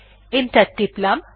enter টিপলাম